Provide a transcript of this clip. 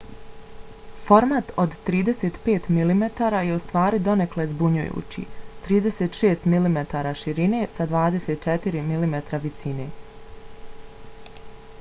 format od 35 mm je ustvari donekle zbunjujući - 36 mm širine sa 24 mm visine